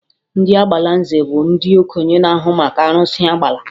Ndị Agbalanze bụ ndị okenye na-ahụ maka arụsị Agbala